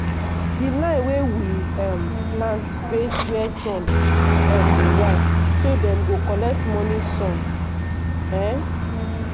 di line wey we um plant face wia sun um dey rise so dem go collect morning sun. um